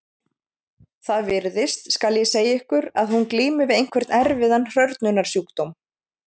Það virðist, skal ég segja ykkur, sem hún glími við einhvern erfiðan hrörnunarsjúkdóm.